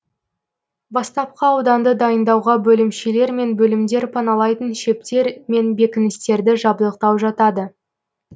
бастапқы ауданды дайындауға бөлімшелер мен бөлімдер паналайтын шептер мен бекіністерді жабдықтау жатады